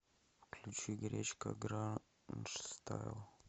включи гречка гранжстайл